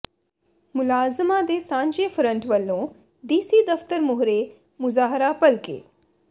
ਮੁਲਾਜ਼ਮਾਂ ਦੇ ਸਾਂਝੇ ਫਰੰਟ ਵੱਲੋਂ ਡੀਸੀ ਦਫ਼ਤਰ ਮੂਹਰੇ ਮੁਜ਼ਾਹਰਾ ਭਲਕੇ